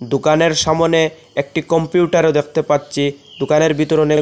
দোকানের সামনে একটি কম্পিউটারও দেখতে পাচ্ছি দোকানের ভিতর অনেক--